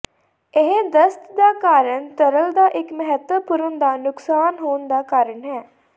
ਇਹ ਦਸਤ ਦਾ ਕਾਰਨ ਤਰਲ ਦਾ ਇੱਕ ਮਹੱਤਵਪੂਰਨ ਦਾ ਨੁਕਸਾਨ ਹੋਣ ਦਾ ਕਾਰਨ ਹੈ